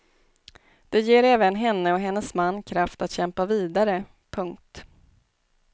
Det ger även henne och hennes man kraft att kämpa vidare. punkt